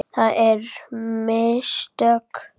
Það eru mistök.